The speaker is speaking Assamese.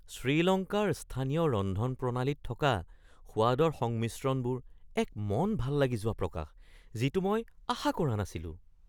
শ্ৰীলংকাৰ স্থানীয় ৰন্ধনপ্ৰণালীত থকা সোৱাদৰ সংমিশ্ৰণবোৰ এক মন ভাল লাগি যোৱা প্ৰকাশ যিটো মই আশা কৰা নাছিলোঁ।